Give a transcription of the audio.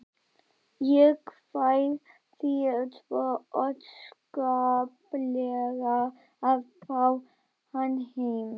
Ég kveið því svo óskaplega að fá hann heim.